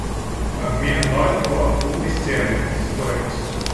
обмен бальбоа в фунты стерлинги стоимость